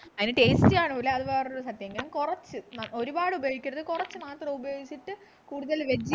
അതിന് taste കാണൂല അത് വേറൊരു സത്യം കാരണം കുറച്ച് ന്ന ആഹ് ഒരുപാട് ഉപയോഗിക്കരുത് കുറച്ചു മാത്രം ഉപയോഗിച്ചിട്ട് കൂടുതൽ